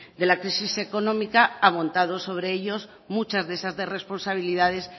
de la crisis económica ha montado sobre ellos muchas de esas responsabilidades